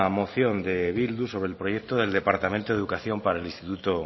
moción de bildu sobre el proyecto del departamento de educación para el instituto